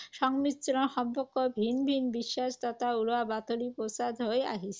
সংমিশ্ৰণ সম্পৰ্কে ভিন ভিন বিশ্বাস তথা উৰা বাতৰি প্ৰচাৰ হৈ আহিছে।